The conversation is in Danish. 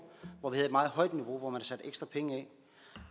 hvor man havde et meget højt niveau og hvor man satte ekstra penge af